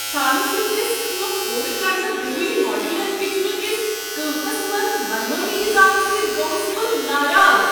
چھانہٕ سٕندۍ دٔسۍ کٲم پورٕ کرنہٕ برونٛہٕے ماڈیولر کچنہٕ کس قیمتس منز منمٲنی اضافہٕ سۭتۍ گووس بہٕ ناراض ۔